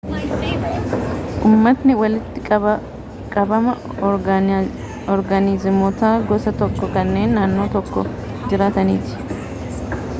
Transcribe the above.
ummatni walitti-qabama oorgaanizimoota gosa tokkoo kanneen naannoo tokko jiraataniiti